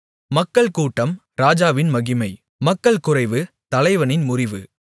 மக்கள் கூட்டம் ராஜாவின் மகிமை மக்கள்குறைவு தலைவனின் முறிவு